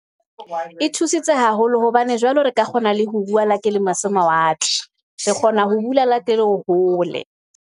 E thusitse haholo hobane jwale re ka kgona le ho bua, le ha ke le mose mawatle, re kgona ho bula le ha ke le hole.